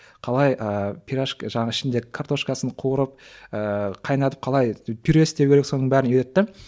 қалай ыыы жаңа ішінде картошкасын қуырып ыыы қайнатып қалай пюре істеу керек соның бәрін үйретті